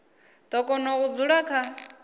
do kona u dzula kha